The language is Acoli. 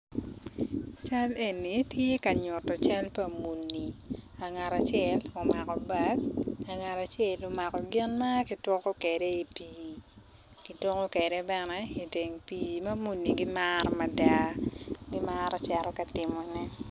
Cal eni tye ka nyuto cal pa muni pa ngat acel omako bag pa ngat acel omako gin ma kituko kwede i pii kituko kwede bene iteng pii ma muni gimaro mada gimaro cito ka timone.